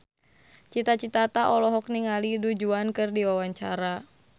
Cita Citata olohok ningali Du Juan keur diwawancara